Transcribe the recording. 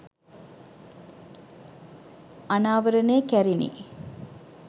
අනාවරණය කැරිණි